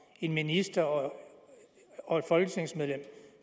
en minister og og et folketingsmedlem